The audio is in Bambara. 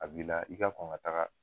A b'i la , i ka kɔn ka taga